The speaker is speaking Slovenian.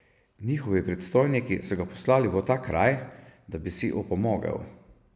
Njegovi predstojniki so ga poslali v ta kraj, da bi si opomogel.